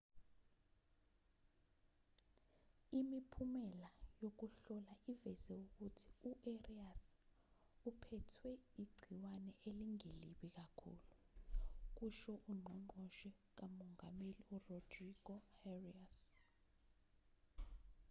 imiphumela yokuhlola iveze ukuthi u-arias uphethwe igciwane elingelibi kakhulu kusho ungqongqoshe kamongameli urodrigo arias